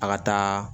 A ka taa